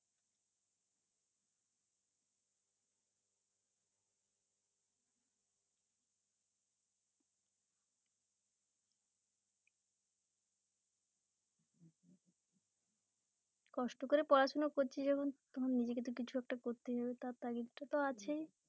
কষ্ট করে পড়াশোনা করছি যখন তখন নিজেকে তো কিছু একটা করতেই হবে তার তাগিদে তো আছেই